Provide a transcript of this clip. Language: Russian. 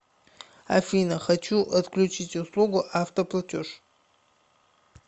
афина хочу отключить услугу автоплатеж